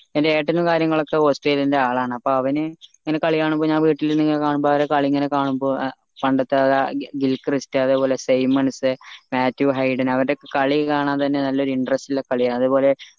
എന്റെ ഏട്ടനും കാര്യങ്ങളുമൊക്കെ ഓസ്‌ട്രേലിയയുടെ ആൾ ആൺ അപ്പൊ അവന് ഇങ്ങനെ കളി കാണുമ്പോ ഞാൻ വീട്ടിലിരുന്ന് ഇങ്ങനെ കാണുമ്പോ ഓരോ കളി ഇങ്ങനെ കാണുമ്പോ പണ്ടത്തെ ആ ഒരാ ദിൽ ക്രിസ്റ്റ അത്പോലെ സയ്മൻസേ മാത്യു ഹൈഡൻ അവരടെയൊക്കെ കളി കാണാൻ തന്നെ നല്ല interest ഉള്ള കളി അതേപോലെ